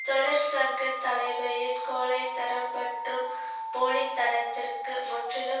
தொழிற்சங்க தலைமையின் கோழைத்தனம் மற்றும் போலித்தனத்திற்கு முற்றிலும்